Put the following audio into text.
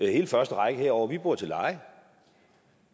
hele første række herovre bor til leje